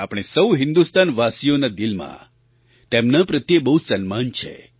આપણે સહુ હિન્દુસ્તાનવાસીઓના દિલમાં તેમના પ્રત્યે બહુ સન્માન છે